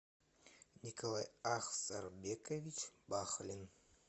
николай ахсарбекович бахлин